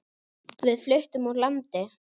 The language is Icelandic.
Við fluttum úr landi.